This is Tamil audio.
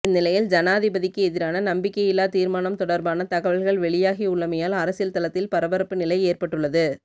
இந்நிலையில் ஜனாதிபதிக்கு எதிரான நம்பிக்கையில்லா தீர்மானம் தொடர்பான தகவல்கள் வெளியாகி உள்ளமையால் அரசியல் தளத்தில் பரபரப்பு நிலை ஏற்பட்டுள்ளது